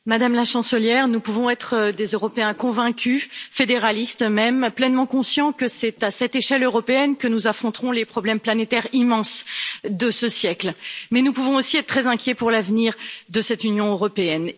Monsieur le Président, Madame la Chancelière, nous pouvons être des Européens convaincus, fédéralistes même, pleinement conscients que c'est à cette échelle européenne que nous affronterons les problèmes planétaires immenses de ce siècle, mais nous pouvons aussi être très inquiets pour l'avenir de cette Union européenne.